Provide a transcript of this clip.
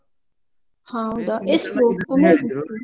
ಹ ಹೌದಾ, ಎಷ್ಟು? .